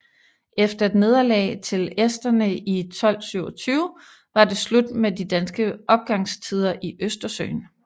Efter et nederlag til esterne i 1227 var det slut med de danske opgangstider i Østersøen